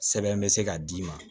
Sɛbɛn bɛ se ka d'i ma